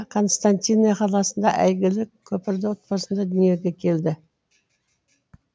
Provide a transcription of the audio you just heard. константиние қаласында әйгілі көпірлі отбасында дүниеге келді